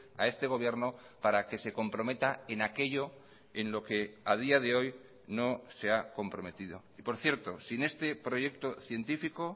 a este gobierno para que se comprometa en aquello en lo que a día de hoy no se ha comprometido y por cierto sin este proyecto científico